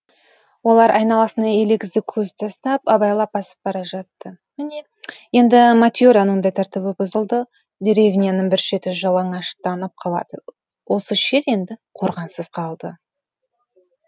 олар айналасына елегізі көз тастап абайлап басып бара жатты міне енді мате раның да тәртібі бұзылды деревняның бір шеті жалаңаштанып қалады осы шет енді қорғансыз қалды